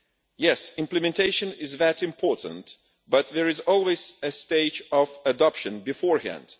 Yes, implementation is that important, but there is always a stage of adoption beforehand.